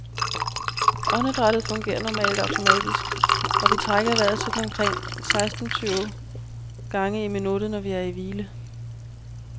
Åndedrættet fungerer normalt automatisk, og vi trækker vejret sådan omkring seksten tyve gange i minuttet, når vi er i hvile.